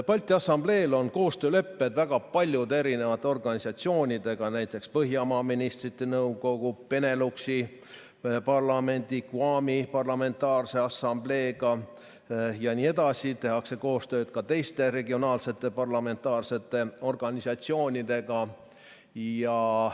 Balti Assambleel on koostöölepped väga paljude organisatsioonidega, näiteks Põhjamaade Ministrite Nõukogu, Beneluxi parlamendi, GUAM-i Parlamentaarse Assambleega jne, koostööd tehakse ka teiste regionaalsete parlamentaarsete organisatsioonidega.